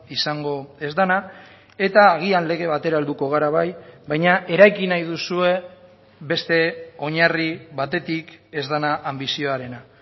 izango ez dena eta agian lege batera helduko gara bai baina eraiki nahi duzue beste oinarri batetik ez dena anbizioarena